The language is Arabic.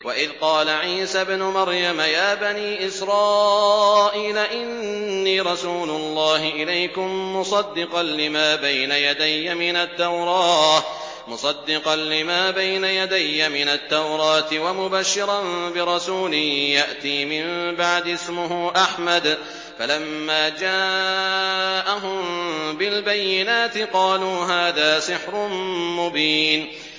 وَإِذْ قَالَ عِيسَى ابْنُ مَرْيَمَ يَا بَنِي إِسْرَائِيلَ إِنِّي رَسُولُ اللَّهِ إِلَيْكُم مُّصَدِّقًا لِّمَا بَيْنَ يَدَيَّ مِنَ التَّوْرَاةِ وَمُبَشِّرًا بِرَسُولٍ يَأْتِي مِن بَعْدِي اسْمُهُ أَحْمَدُ ۖ فَلَمَّا جَاءَهُم بِالْبَيِّنَاتِ قَالُوا هَٰذَا سِحْرٌ مُّبِينٌ